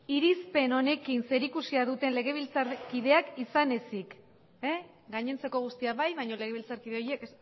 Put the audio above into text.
irizpen honekin zerikusia duten legebiltzarkideak izan ezik gainontzeko guztiak bai baino legebiltzarkide horiek